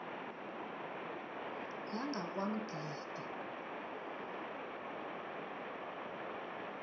yangakwamgidi